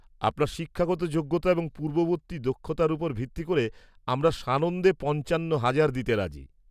আপনার শিক্ষাগত যোগ্যতা এবং পূর্ববর্তী দক্ষতার উপর ভিত্তি করে আমরা সানন্দে পঞ্চান্ন হাজার দিতে রাজি।